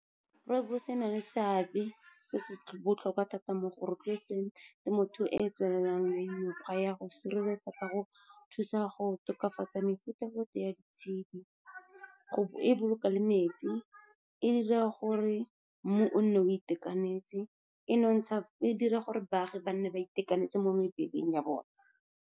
Rooibos e na le seabe se se botlhokwa thata mo go rotloetseng temothuo e e tswelelang le mekgwa ya go sireletsa, ka go thusa go tokafatsa mefuta-futa ya ditshedi, e boloka le metsi, e dira gore mmu o nne o itekanetse. E dira gore baagi ba nne ba itekanetse mo mebeleng ya bona.